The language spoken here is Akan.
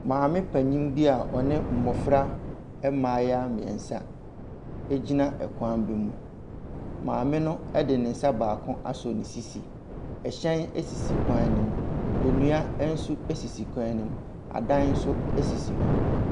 Maame panin bi a ɔne mmɔfra mmayewa mmeɛnsa gyina kwan bi mu. Maame no de ne nsa baako asɔ ne sisi. Ɛhyɛn sisi kwan no ho. Nnia nso sisi kwan no mu. Adan nso sisi hɔ.